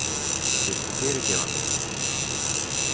Viltu fyrirgefa mér?